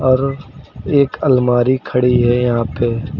और एक अलमारी खड़ी है यहां पे।